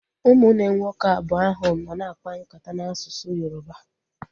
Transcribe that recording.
Ụmụnne nwoke abụọ ahụ nọ na akpa nkata n'asụsụ Yoroba